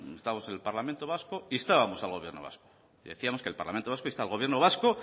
instamos al parlamento vasco instábamos gobierno vasco y decíamos que el parlamento vasco insta al gobierno vasco